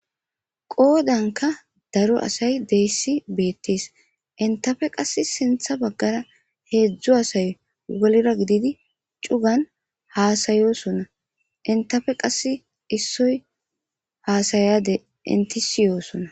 Qodanika daro asay betes henitape qa sinitha bagara hezu asay wolira gididi cugan hasayosona henitape qasi issoy hasayade eniti ssi'osona